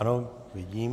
Ano, vidím.